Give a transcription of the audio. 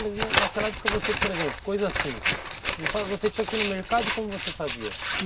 Mas naquela época você, por exemplo, coisa simples, me fala, você tinha que ir ao mercado e como você fazia?